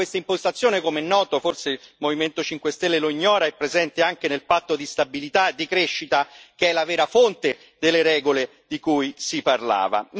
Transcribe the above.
Peraltro, questa impostazione, com'è noto forse il Movimento 5 Stelle lo ignora è presente anche nel Patto di stabilità e di crescita, che è la vera fonte delle regole di cui si parlava.